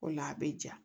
O la a bɛ ja